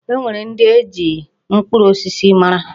E nwere ndị e ji mkpụrụ osisi mara.